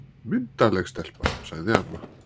Myndarleg stelpa, sagði amma.